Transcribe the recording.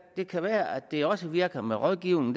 det kan være at det også virker med rådgivning